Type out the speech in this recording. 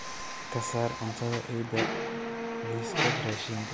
Ka saar cuntada eyda liiska raashinka